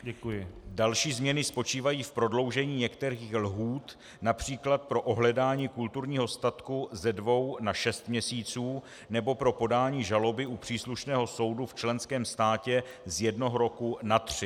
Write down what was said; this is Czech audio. Další změny spočívají v prodloužení některých lhůt, například pro ohledání kulturního statku ze dvou na šest měsíců nebo pro podání žaloby u příslušného soudu v členském státě z jednoho roku na tři.